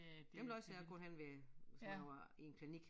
Dem læser jeg kun henne ved hvis man nu er i en klinik